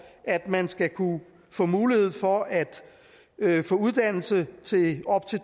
at man skal kunne få mulighed for at få uddannelse til op til